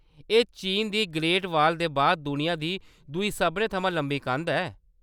एह्‌‌ चीन दी ग्रेट बाल दे बाद दुनिया दी दूई सभनें थमां लंबी कंध ऐ।